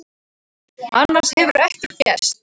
Annars hefur ekkert gerst